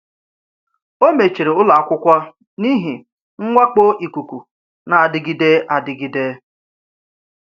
A mechiri ụlọ akwụkwọ n’ihi mwakpo ikuku na-adịgide adịgide.